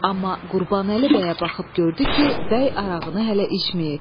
Amma Qurbanəli bəyə baxıb gördü ki, bəy arağını hələ içməyib.